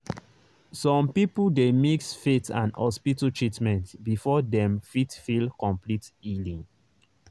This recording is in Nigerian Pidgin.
some people dey mix faith and hospital treatment before dem fit feel complete healing.